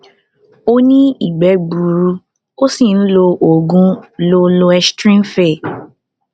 ó ní ìgbẹ gbuuru ó sì ń lo oògùn lo loestrin fe